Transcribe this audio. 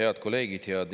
Head kolleegid!